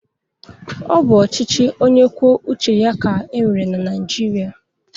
Ọ bụ ochichị ọnye kwụo ụche ya ka e nwere na naijịria